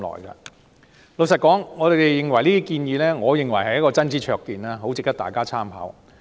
坦白說，我認為這些建議是真知灼見，很值得大家參考。